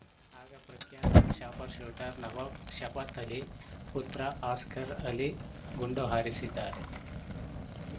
ಆಗ ಪ್ರಖ್ಯಾತ ಶಾಪ್‌ರ್‍ಶೂಟರ್‌ ನವಾಬ್‌ ಶಫತ್‌ ಅಲಿ ಪುತ್ರ ಅಸ್ಗರ್‌ ಅಲಿ ಗುಂಡು ಹಾರಿಸಿದ್ದಾರೆ